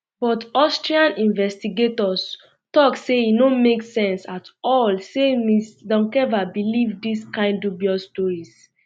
but austrian investigators tok say e no make sense um at all say ms doncheva believe dis kind dubious stories